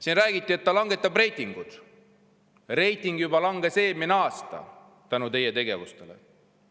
Siin räägiti, et langetab reitingut, aga reiting langes tänu teie tegevusele juba eelmine aasta.